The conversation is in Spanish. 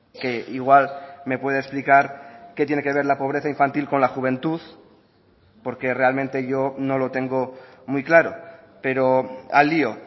que igual me puede explicar qué tiene que ver la pobreza infantil con la juventud porque realmente yo no lo tengo muy claro pero al lío